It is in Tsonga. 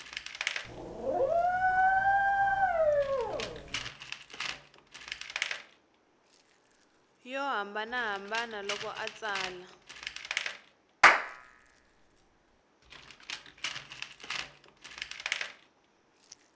yo hambanahambana loko a tsala